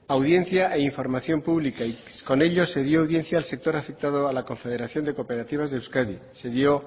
audiencia e información pública y con ello se dio audiencia al sector afectado a la confederación de cooperativas de euskadi se dio